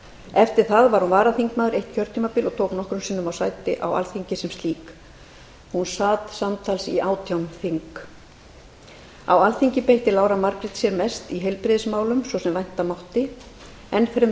eftir það var hún varaþingmaður eitt kjörtímabil og tók nokkrum sinnum sæti á alþingi sem slík hún sat samtals átján þing á alþingi beitti lára margrét sér mest í heilbrigðismálum svo sem vænta mátti enn fremur í